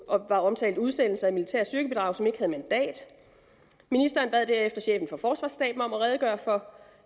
var omtalt udsendelse af militære styrkebidrag som ikke havde mandat ministeren bad derefter chefen for forsvarsstaben om at redegøre for